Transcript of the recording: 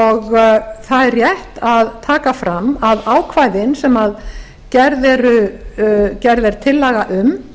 það er rétt að taka fram að ákvæðin sem gerð er tillaga um